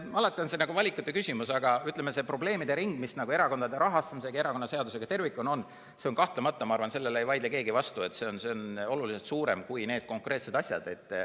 Alati on valikute küsimus, aga ütleme, see probleemide ring, mis erakondade rahastamise ja erakonnaseadusega tervikuna on – kahtlemata, ma arvan, sellele ei vaidle keegi vastu –, on oluliselt suurem kui need konkreetsed asjad.